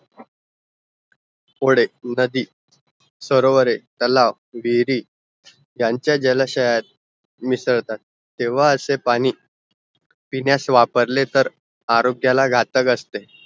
वोडे, नदी, सरोवरे, तलाव, डेअरी त्यांचा जलाशयात मिसळतात तेव्हा असे पाणी पिण्यास वापरले तर आरोग्यला घातक असते